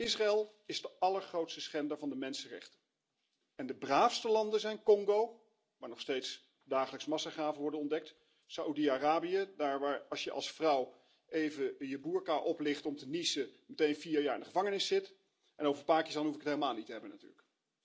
Israël is de allergrootste schender van de mensenrechten en de braafste landen zijn Congo, waar nog steeds dagelijks massagraven worden ontdekt, Saudi Arabië, daar waar als je als vrouw even je boerka oplicht om te niezen, je meteen vier jaar in de gevangenis zit, en over Pakistan hoef ik het helemaal niet te hebben natuurlijk.